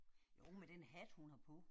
Jo med den hat hun har på